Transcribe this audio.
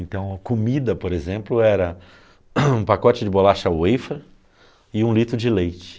Então a comida, por exemplo, era um pacote de bolacha wafer e um litro de leite.